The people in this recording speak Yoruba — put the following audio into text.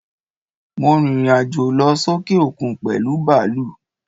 Mo rìrìn àjò lọ sókè òkun pèlú bàlúù.